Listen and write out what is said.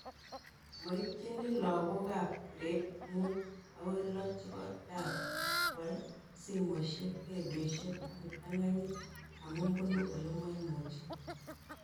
Maitchini lakok ab gradit mut akoi loo chepo dhaka kwal simoshek, redioshek ak kiptang'anyit amu punu ole maimuchi kei